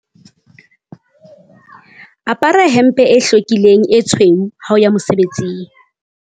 apara hempe e hlwekileng e tshweu ha o ya mosebetsing